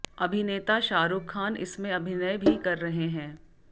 अभिनेता शाहरुख खान इसमें अभिनय भी कर रहे हैं